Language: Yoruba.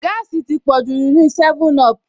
Gáàsì ti pọ̀jù nínúu 7up